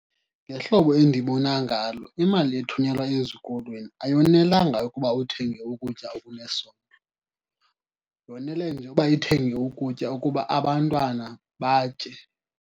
Ngehlobo endibona ngalo imali ethunyelwa ezikolweni ayonelanga ukuba uthenge ukutya okunesondlo, yonele nje uba ithenge ukutya ukuba abantwana batye.